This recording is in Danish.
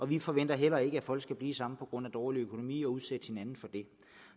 vi forventer ikke at folk skal blive sammen på grund af dårlig økonomi og udsætte hinanden for det